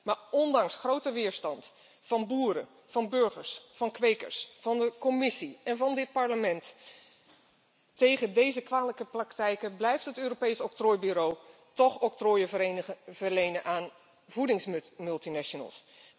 Maar ondanks grote weerstand van boeren, van burgers, van kwekers, van de Commissie en van dit Parlement tegen deze kwalijke praktijken blijft het Europees Octrooibureau toch octrooien verlenen aan voedingsmultinationals.